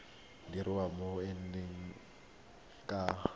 dirwa mo go ena ka